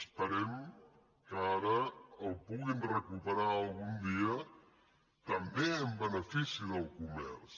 esperem que ara el puguin recuperar algun dia també en benefici del comerç